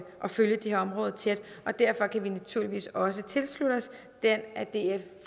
følge det her område tæt og derfor kan vi naturligvis også tilslutte os den af df